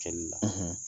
Cɛli la